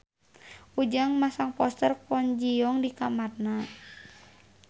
Ujang masang poster Kwon Ji Yong di kamarna